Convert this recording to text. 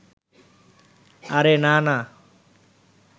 আরে, না না